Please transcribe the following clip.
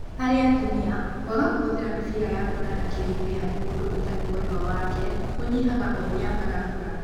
Harĩ atumia, kwaga kũhũthĩra mĩbira ya kuonana kĩmwĩrĩ harĩ mũndũ ũtari mwendwa wake kũnyihaga oũria marakũra